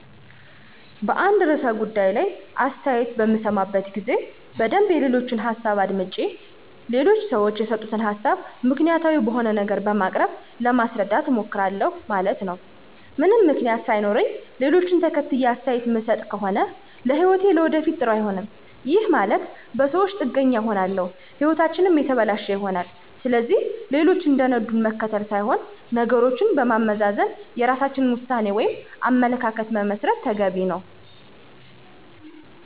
በአንድ ርዕሠ ጉዳይ ላይ አሥተያየት በምሠማበት ጊዜ በደንብ የሌሎችን ሀሣብ አዳምጨ ሌሎች ሠወች የሰጡትን ሀሣብ ምክንያታዊ በሆነ ነገር በማቅረብ ለማሥረዳት እሞክራሁ ማለት ነው። ምንም ምክንያት ሣይኖረኝ ሌሎችን ተከትየ አስተያየት ምሠጥ ከሆነ ለህይወቴም ለወደፊት ጥሩ አይሆንም፤ ይህም ማለት በሠወች ጥገኛ እንሆናለን ህይወታችንም የተበለሸ ይሆናል። ስለዚህ ሌሎች እንደነዱን መከተል ሥይሆን ነገሮችን በማመዛዘን የራሳችን ውሣኔ ወይም አመለካከት መመስረት ተገቢ ነው።